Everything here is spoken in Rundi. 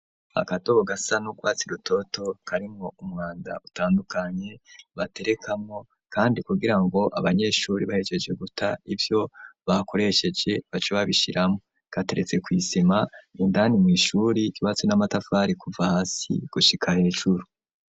Agasaho gasa nugwatsi rutoto, karimwo umwanda utandukanye ,baterekamwo kandi kugira ngo abanyeshuri bahegeje guta ivyo bakoresheje baca babishiramwo gateretse kw'isima ,indani mw'ishuri hubatse n'amatafari kuva hasi gushika hejuru.